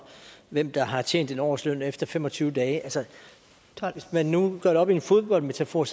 hvem der har tjent en årsløn efter fem og tyve dage altså hvis man nu gør det op i en fodboldmetafor